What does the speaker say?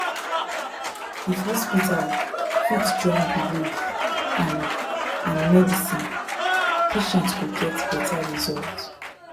if hospital fit join belief and and medicine patient go get better result